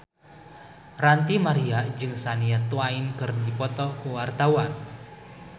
Ranty Maria jeung Shania Twain keur dipoto ku wartawan